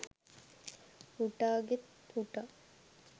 හුටාගෙත් හුටා